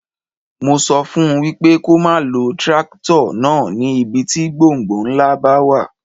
Mo sọ fún wípé kó má lo tírákítọ̀ náà ní ibi tí gbọ̀ǹgbọ̀ǹ ńlá bá wà.